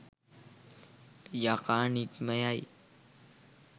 යකා නික්ම යයි.